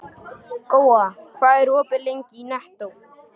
Góa, hvað er opið lengi í Nettó?